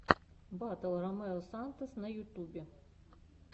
батл ромео сантос на ютубе